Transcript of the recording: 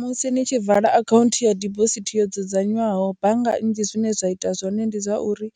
Musi ni tshi vala akhaunthu ya dibosithi yo dzudzanywaho bannga nnzhi zwine zwa ita zwone ndi zwa uri